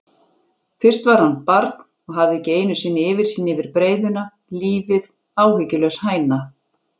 Fyrst var hann barn og hafði ekki einusinni yfirsýn yfir breiðuna, lífið áhyggjulaus hæna.